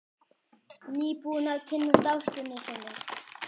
Nýbúinn að kynnast ástinni sinni.